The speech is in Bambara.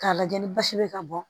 K'a lajɛ ni basi bɛ ka bɔ